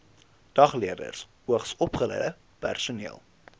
dagleerders hoogsopgeleide personeel